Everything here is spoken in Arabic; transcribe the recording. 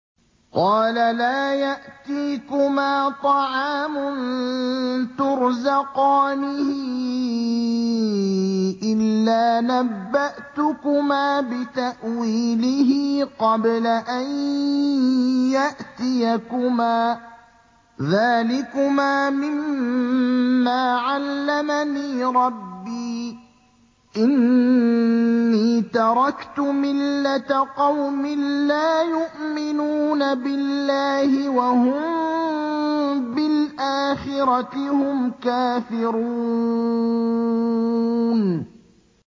قَالَ لَا يَأْتِيكُمَا طَعَامٌ تُرْزَقَانِهِ إِلَّا نَبَّأْتُكُمَا بِتَأْوِيلِهِ قَبْلَ أَن يَأْتِيَكُمَا ۚ ذَٰلِكُمَا مِمَّا عَلَّمَنِي رَبِّي ۚ إِنِّي تَرَكْتُ مِلَّةَ قَوْمٍ لَّا يُؤْمِنُونَ بِاللَّهِ وَهُم بِالْآخِرَةِ هُمْ كَافِرُونَ